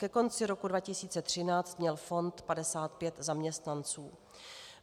Ke konci roku 2013 měl fond 55 zaměstnanců.